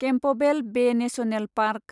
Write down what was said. Campbell Bay National park